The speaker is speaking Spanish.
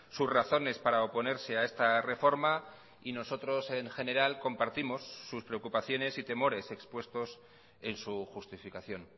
sus razones para oponerse a esta reforma y nosotros en general compartimos sus preocupaciones y temores expuestos en su justificación